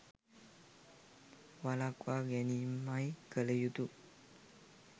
වළක්වා ගැනීමයි කල යුතු.